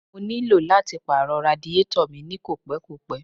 Mo ní lò láti pàrọ̀ radiátọ̀ mi ní kò pẹ́ kò pẹ́.